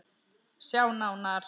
Sjá nánar